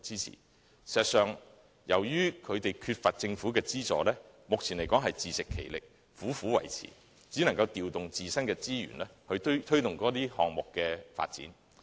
事實上，由於有關團體缺乏政府的資助，目前只能自食其力，苦苦維持，調動自身的資源，以推動該等項目的發展。